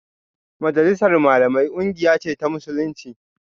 Majalisar Malamai kungiya ce ta Musulunci